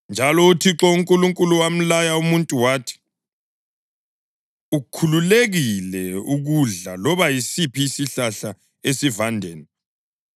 Njalo uThixo uNkulunkulu wamlaya umuntu wathi, “Ukhululekile ukudla loba yisiphi isihlahla esivandeni;